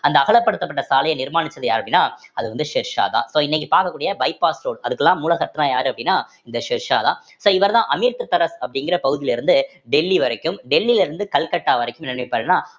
அந்த அகலப்படுத்தப்பட்ட சாலையை நிர்மாணிச்சது யாரு அப்படின்னா அது வந்து ஷெர்ஷா தான் so இன்னைக்கு பார்க்கக்கூடிய bypass road அதுக்கெல்லாம் மூல சத்னா யாரு அப்படின்னா இந்த ஷெர்ஷாதான் so இவர்தான் அமிர்தசரஸ் அப்படிங்கிற பகுதியில இருந்து டெல்லி வரைக்கும் டெல்லியில இருந்து கல்கத்தா வரைக்கும் என்ன பண்ணிருப்பாருன்னா